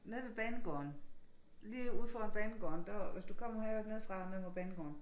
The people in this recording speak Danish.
Nede ved banegården lige ude foran banegården der hvis du kommer her nede fra ned mod banegården